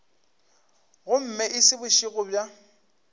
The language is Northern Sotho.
gomme e se bošego bja